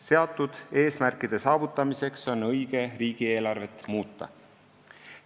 Seatud eesmärkide saavutamiseks on õige riigieelarvet muuta.